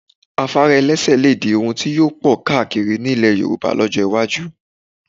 Afárá ẹlẹ́sẹ̀ lè di ohun tí yóò pọ̀ káakiri ní ilẹ̀ Yorùbá lọ́jọ́ iwájú